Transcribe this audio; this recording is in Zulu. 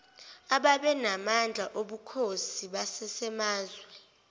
ababenamandla obukhosi basemazwe